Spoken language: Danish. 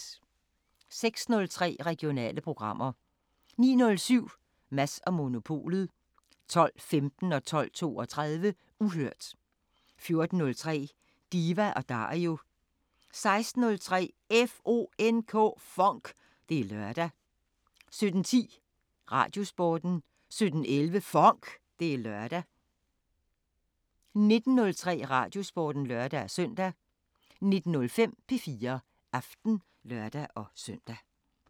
06:03: Regionale programmer 09:07: Mads & Monopolet 12:15: Uhørt 12:32: Uhørt 14:03: Diva & Dario 16:03: FONK! Det er lørdag 17:10: Radiosporten 17:11: FONK! Det er lørdag 19:03: Radiosporten (lør-søn) 19:05: P4 Aften (lør-søn)